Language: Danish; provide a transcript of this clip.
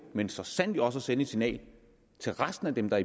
men så sandelig også at sende et signal til resten af dem der